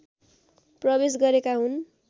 प्रवेश गरेका हुन्